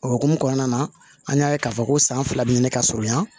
O hukumu kɔnɔna na an y'a ye k'a fɔ ko san fila bɛ ɲini ka surunya